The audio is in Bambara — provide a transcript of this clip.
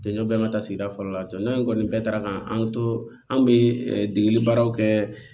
Jɔn bɛɛ ma taa sigida fɔlɔ la jɔnjɔn in kɔni bɛɛ taara ka an to an bɛ degeli baaraw kɛ